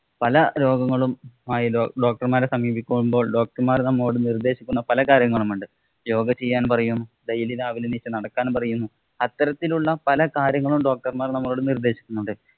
പല രോഗങ്ങളും ആയി doctor മാരെ സമീപിക്കുമ്പോള്‍ doctor മാര്‍ നമ്മോടു നിര്‍ദ്ദേശിക്കുന്ന പല കാര്യങ്ങളും ഉണ്ട്. യോഗ ചെയ്യാന്‍ പറയും. Daily രാവിലെ എണ്ണീച്ചു നടക്കാന്‍ പറയുന്നു. അത്തരത്തില്‍ ഉള്ള പല കാര്യങ്ങളും doctor മാര്‍ നമ്മളോട് നിര്‍ദ്ദേശിക്കുന്നുണ്ട്‌.